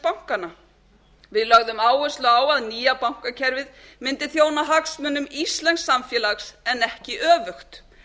bankanna við lögðum áherslu á að nýja bankakerfið mundi þjóna hagsmunum íslensks samfélags en ekki öfugt